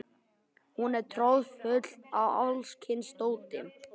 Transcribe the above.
Hún var troðfull af alls kyns dóti.